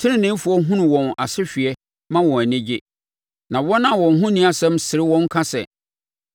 Teneneefoɔ hunu wɔn asehweɛ ma wɔn ani gye; na wɔn a wɔn ho nni asɛm sere wɔn ka sɛ,